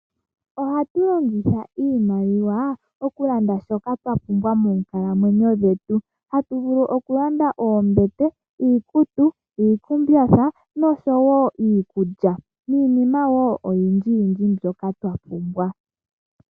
Ohatu longitha iimaliwa oku landa shoka twas pumbwa monkalamwenyo dhetu. Hatu vulu oku landa oombete, iikutu, iikumbatha nosho wo iikulya niinima wo oyindji yindji mbyoka twa pumbwa.